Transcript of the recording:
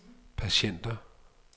patienter